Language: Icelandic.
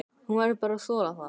Hún verður bara að þola það.